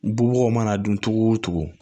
Bubagaw mana dun cogo o cogo